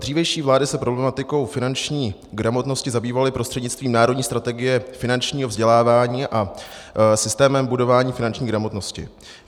Dřívější vlády se problematikou finanční gramotnosti zabývaly prostřednictvím národní strategie finančního vzdělávání a systémem budování finanční gramotnosti.